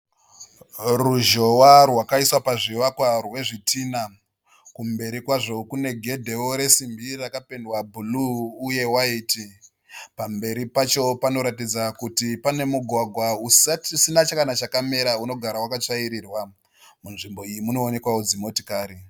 Ruzhowa rwakaiswa pazvivakwa rwezvitinha. Kumberi kwazvo kune gedhewo resimbi rakapendwa bhuruu uye waiti. Pamberi pacho panoratidza kuti pane mugwagwa usina chakamera unogara wakatsvairirwa. Nzvimbo iyi munoonekwawo dzimotokari.